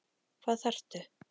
Hvað þarftu?